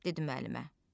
Dedi müəllimə.